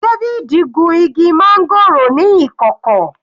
David gun igi máńgòrò ní ìkọ̀kọ̀.